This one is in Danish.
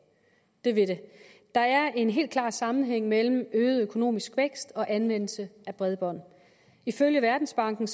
det vil det der er en helt klar sammenhæng mellem øget økonomisk vækst og anvendelse af bredbånd ifølge verdensbanken